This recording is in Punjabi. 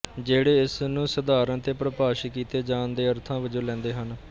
ਜਿਹੜੇ ਇਸ ਨੂੰ ਸਧਾਰਨ ਅਤੇ ਪਰਿਭਾਸ਼ਿਤ ਕੀਤੇ ਜਾਣ ਦੇ ਅਰਥਾਂ ਵਜੋਂ ਲੈਂਦੇ ਹਨ